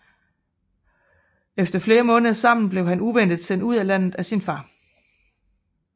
Efter flere måneder sammen blev han uventet sendt ud af landet af sin far